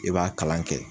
I b'a kalan kɛ